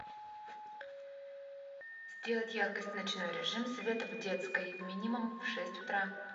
сделать яркость ночной режим света в детской минимум в шесть утра